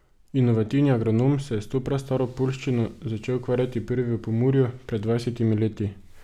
Inovativni agronom se je s to prastaro poljščino začel ukvarjati prvi v Pomurju, pred dvajsetimi leti.